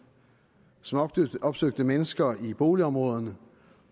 som opsøgte mennesker i boligområderne